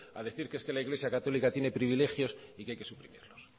a decir que es que la iglesia católica tiene privilegios y que hay que suprimirlos